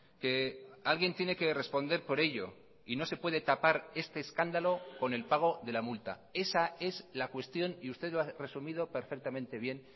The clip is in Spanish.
que alguien tiene que responder por ello y no se puede tapar este escándalo con el pago de la multa esa es la cuestión y usted lo ha resumido perfectamente bien